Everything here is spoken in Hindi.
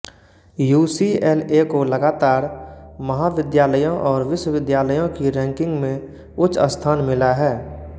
यूसीएलए को लगातार महाविद्यालयों और विश्विद्यालयों की रैंकिंग में उच्च स्थान मिला है